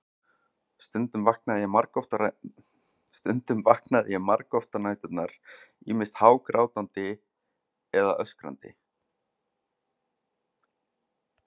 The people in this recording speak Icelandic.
Stundum vaknaði ég margoft á næturnar, ýmist hágrátandi eða öskrandi.